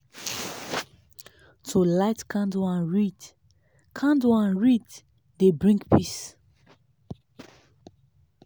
to light candle and read candle and read dey bring peace.